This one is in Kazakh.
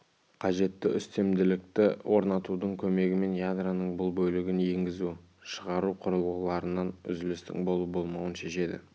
қажетті үстемділікті орнатудың көмегімен ядроның бұл бөлігі енгізу-шығару құрылғыларынан үзілістің болу болмауын шешеді